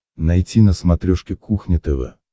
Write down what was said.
найти на смотрешке кухня тв